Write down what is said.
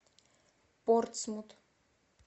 портсмут